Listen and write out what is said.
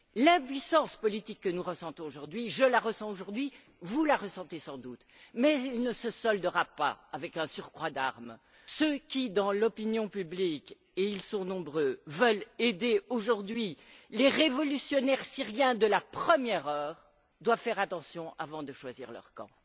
L'impuissance politique que nous ressentons aujourd'hui, je la ressens, vous la ressentez sans doute, mais elle ne trouvera pas de solution dans un surcroît d'armes. Ceux qui, dans l'opinion publique, et ils sont nombreux, veulent aider aujourd'hui les révolutionnaires syriens de la première heure, doivent faire attention avant de choisir leur camp.